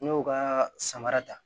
N y'o ka samara ta